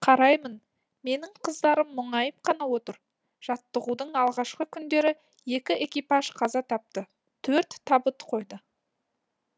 қараймын менің қыздарым мұңайып қана отыр жаттығудың алғашқы күндері екі экипаж қаза тапты төрт табыт қойды